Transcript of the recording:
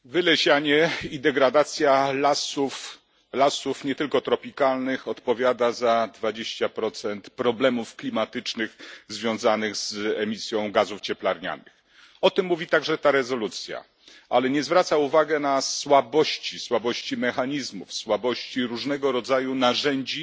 Pani Przewodnicząca! Wylesianie i degradacja lasów, lasów nie tylko tropikalnych, odpowiada za 20 problemów klimatycznych związanych z emisją gazów cieplarnianych. O tym mówi także ta rezolucja, ale nie zwraca uwagi na słabości mechanizmów, słabości różnego rodzaju narzędzi,